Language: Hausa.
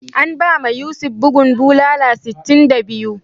An bama Yusuf bugun bulala sitin da biyu.